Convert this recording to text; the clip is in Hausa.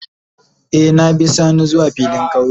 Eh, na bi sani zuwa filin kauye.